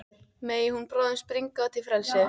Megi hún bráðum springa út í frelsið.